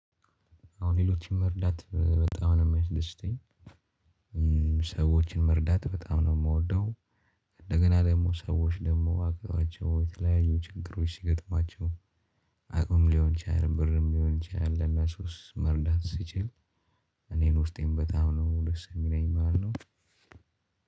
አሁን ሌሎችን መርዳት በጣም ነው ሚያስደስተኝ። ሰዎችን መርዳት በጣም ነው የምወደው። እንደገና ደግሞ ሰዎች ደግሞ አቅቷቸው የተለያዩ ችግሮች ሲገጥማቸው አቅም ሊሆን ይችላል ብርም ሊሆን ይችላል ለነሱስ መርዳት ስችል። እኔን ውስጤም በጣም ነው ደስ ሚለኝ ማለት ነው